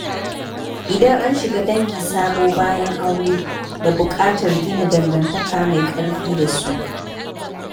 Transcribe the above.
Idan an shiga dangi sabo bayan aure, da buƙatar gina dangantaka mai ƙarfi da su.